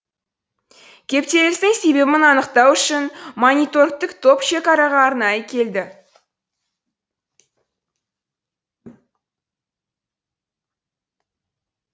кептелістің себебін анықтау үшін мониторингтік топ шекараға арнайы келді